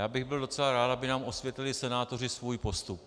Já bych byl docela rád, aby nám osvětlili senátoři svůj postup.